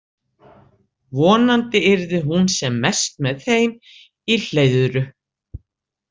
Vonandi yrði hún sem mest með þeim í Hleiðru.